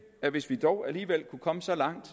at hvis vi dog alligevel kunne komme så langt